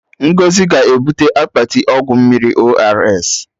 Ngọzi ga-ebute akpati ọgwụ mmiri ORS